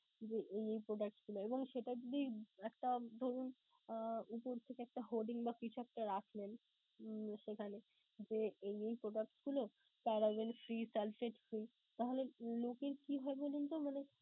যে এই এই products গুলো এবং সেটা যদি একটা ধরুন আহ উপর থেকে একটা holding বা কিছু একটা রাখলেন, সেখানে যে এই এই products গুলো তাহলে লোকের কি হয় বলুনতো মানে